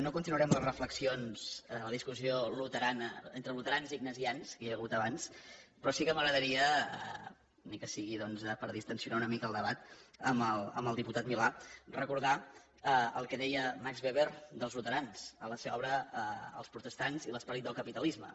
no continuaré amb les reflexions la discussió luterana entre luterans i ignasians que hi ha hagut abans però sí que m’agrada ria ni que sigui doncs per distensionar una mica el debat amb el diputat milà recordar el que deia max weber dels luterans en la seva obra els luterans i l’esperit del capitalisme